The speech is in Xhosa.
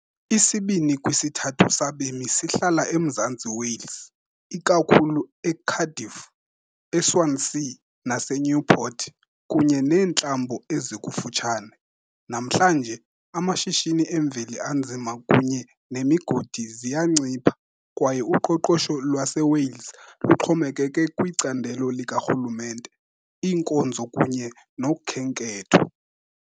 Isibini kwisithathu sabemi sihlala eMzantsi Wales, ikakhulu eCardiff, eSwansea naseNewport, kunye neentlambo ezikufutshane. Namhlanje, amashishini emveli anzima kunye nemigodi ziyancipha, kwaye uqoqosho lwaseWales luxhomekeke kwicandelo likarhulumente, iinkonzo kunye nokhenketho.